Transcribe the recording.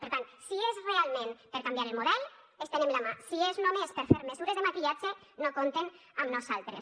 per tant si és realment per canviar el model estenem la mà si és només per fer mesures de maquillatge no compten amb nosaltres